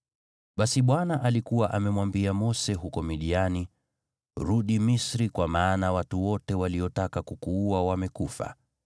Basi Bwana alikuwa amemwambia Mose huko Midiani, “Rudi Misri kwa maana watu wote waliotaka kukuua wamekufa.”